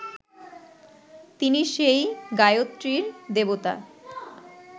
তিনি সেই গায়ত্রীর দেবতা